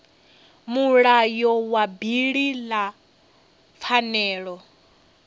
mulayo wa bili ya pfanelo